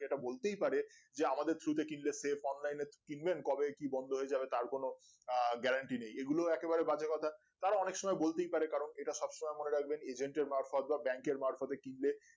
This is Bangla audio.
যে এটা বলতেই পারে যে আমাদের through তে কিনলে save online এ কিনবেন কবে কি বন্ধ হয়ে যাবে তার কোনো আহ গ্যারান্টি নেই এগুলো একেবারেই বাজে কথা তারা অনেক সময় বলতেই পারে কারণ এটা সবসময় মনে রাখবেন agent এর মারফত বা bank এর মারফত এ কিনলে